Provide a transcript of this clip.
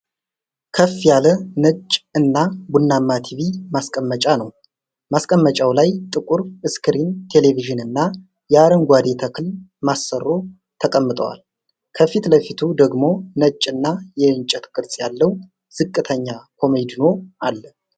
ከፍ ያለ፣ ነጭ እና ቡናማ ቲቪ ማስቀመጫ ነው። ማስቀመጫው ላይ ጥቁር ስክሪን ቴሌቪዥንና የአረንጓዴ ተክል ማሰሮ ተቀምጠዋል። ከፊት ለፊቱ ደግሞ ነጭ እና የእንጨት ቅርጽ ያለው ዝቅተኛ ኮመዲኖ አለ።